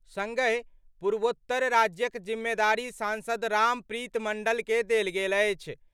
संगहि पूर्वोत्तर राज्यक जिम्मेदारी सांसद रामप्रीत मंडल के देल गेल अछि।